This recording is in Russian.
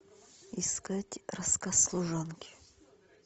искать рассказ служанки